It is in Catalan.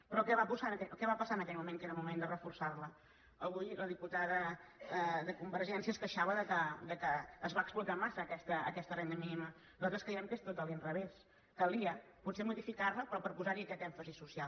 però què va passar en aquell moment que era el moment de reforçar la avui la diputada de convergència es queixava que es va explotar massa aquesta renda mínima nosaltres creiem que és tot a l’inrevés calia potser modificar la però per posar hi aquest èmfasi social